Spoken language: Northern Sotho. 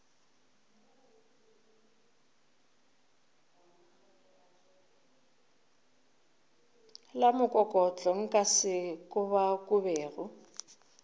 la mokokotlo nka se kobakobege